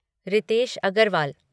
Ritesh Agarwal